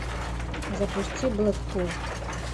запусти блэкпул